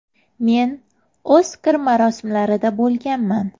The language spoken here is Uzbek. Men ‘Oskar’ marosimlarida bo‘lganman.